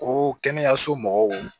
Ko kɛnɛyaso mɔgɔw